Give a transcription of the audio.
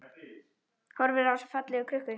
Horfir á þessa fallegu krukku.